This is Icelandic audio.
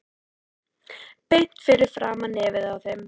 Beint fyrir framan nefið á þeim.